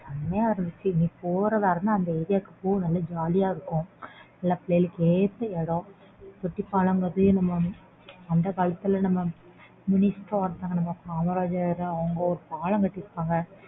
செம்மயா இருந்துச்சு நீ போறதா இருந்தா அந்த area க்கு போ நல்ல jolly யா இருக்கும் நல்லா பிள்ளைகளுக்கு ஏத்த இடம் ஆஹ் அந்த காலத்துல நம்ம minister ஒருத்தவங்க நம்ம காமராஜர் அவங்க ஒரு பாலம் கட்டிருக்காங்க